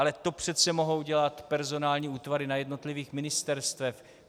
Ale to přece mohou dělat personální útvary na jednotlivých ministerstvech.